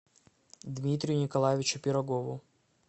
дмитрию николаевичу пирогову